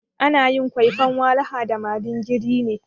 Ana yin kwaifan walaha da madingiri ne.